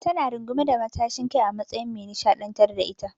Ta na rungume da matashin kai a matsayin me nishaɗantar da ita.